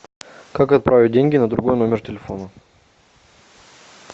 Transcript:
как отправить деньги на другой номер телефона